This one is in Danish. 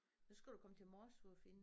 Det skal du komme til Morsø og finde